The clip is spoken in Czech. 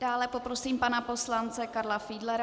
Dále poprosím pana poslance Karla Fiedlera.